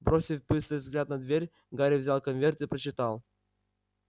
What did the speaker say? бросив быстрый взгляд на дверь гарри взял конверт и прочитал